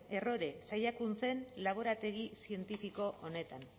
errore saiakuntzen laborategi zientifiko honetan